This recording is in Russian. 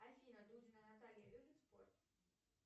афина дудина наталья любит спорт